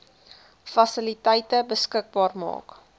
fasiliteite beskikbaar maak